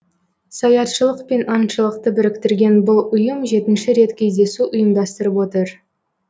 саятшылық пен аңшылықты біріктірген бұл ұйым жетінші рет кездесу ұйымдастырып отыр